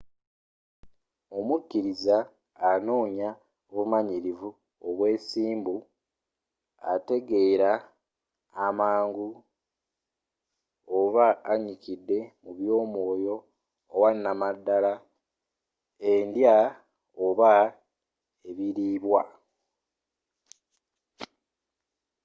omukiriza anoonya obumanyirivu obwesimbu ategeera amangu oba anyikidde mu by’omwooyo owanamadala/ endya oba ebiliibwa